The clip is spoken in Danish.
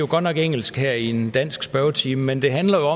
godt nok engelsk her i en dansk spørgetime men det handler